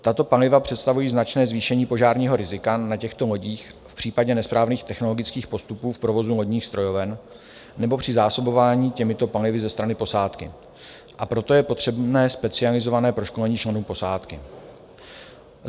Tato paliva představují značné zvýšení požárního rizika na těchto lodích v případě nesprávných technologických postupů v provozu lodních strojoven nebo při zásobování těmito palivy ze strany posádky, a proto je potřebné specializované proškolení členů posádky.